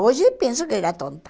Hoje, penso que era tonta.